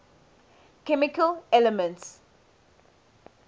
chemical elements